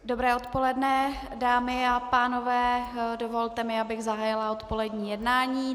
Dobré odpoledne, dámy a pánové, dovolte mi, abych zahájila odpolední jednání.